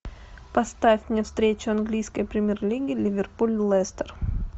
поставь мне встречу английской премьер лиги ливерпуль лестер